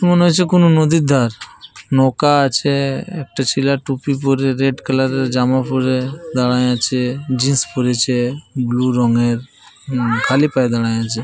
মনে হচ্ছে কোনো নদীর ধার। নৌকা আছে একটা ছেলে টুপি পরে রেড কালার এর জামা পরে দাড়ায়ে আছে। জিন্স পড়েছে ব্লু রঙের। হম খালি পায়ে দাড়ায়ে আছে ।